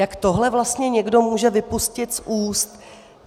Jak tohle vlastně někdo může vypustit z úst?